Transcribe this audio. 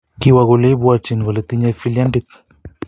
kiwa kole ipwytchin kole tinyei filyandit